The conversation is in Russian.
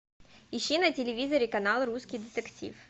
ищи на телевизоре канал русский детектив